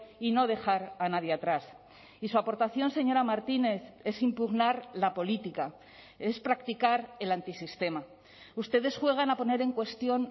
y no dejar a nadie atrás y su aportación señora martínez es impugnar la política es practicar el antisistema ustedes juegan a poner en cuestión